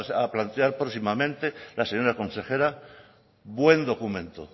a plantear próximamente la señora consejera buen documento